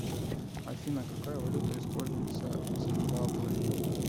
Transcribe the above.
афина какая валюта используется в зимбабве